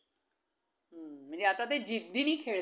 हम्म. म्हणजे आता ते जिद्दीने